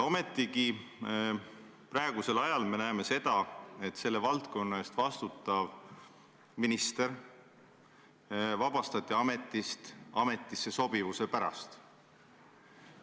Ometigi me praegusel ajal näeme seda, et selle valdkonna eest vastutav minister vabastati ametist ametisse sobivuse pärast.